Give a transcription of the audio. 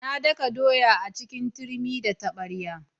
Na daka doya a cikin turmi da taɓarya.